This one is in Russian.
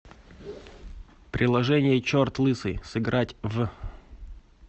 приложение черт лысый сыграть в